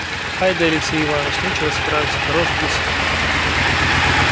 ай-да алексей иванович нечего сказать хорош гусь